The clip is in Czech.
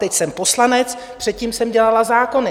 Teď jsem poslanec, předtím jsem dělala zákony.